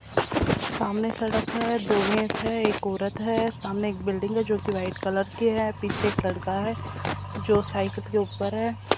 सामने सड़क है दो भैंस है एक औरत है सामने एक बिल्डिंग है जो कि व्हाइट कलर की है पीछे एक लड़का है जो साइकिल के ऊपर है।